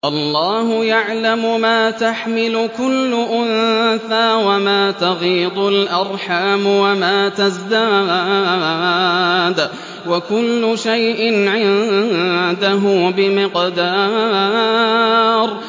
اللَّهُ يَعْلَمُ مَا تَحْمِلُ كُلُّ أُنثَىٰ وَمَا تَغِيضُ الْأَرْحَامُ وَمَا تَزْدَادُ ۖ وَكُلُّ شَيْءٍ عِندَهُ بِمِقْدَارٍ